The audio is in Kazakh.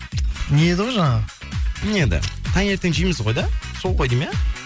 не еді ғой жаңағы не еді таңертең жейміз ғой да сол ғой деймін иә